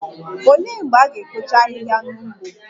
Olee mgbe a ga-ekpocha ahịhịa n'ugbo?